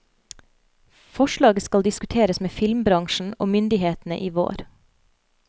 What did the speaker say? Forslaget skal diskuteres med filmbransjen og myndighetene i vår.